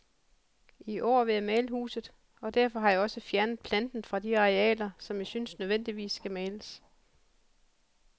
I år vil jeg male huset, og derfor har jeg også fjernet planten fra de arealer, som jeg synes nødvendigvis skal males.